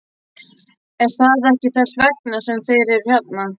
Er það ekki þess vegna sem þeir eru hérna?